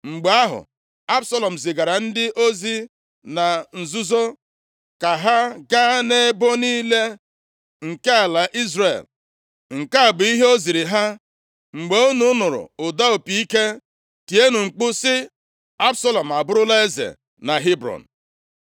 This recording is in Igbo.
Mgbe ahụ, Absalọm zigara ndị ozi na nzuzo, ka ha gaa nʼebo niile nke ala Izrel. Nke a bụ ihe o ziri ha, “Mgbe unu nụrụ ụda opi ike, tienụ mkpu sị, ‘Absalọm abụrụla eze na Hebrọn.’ ”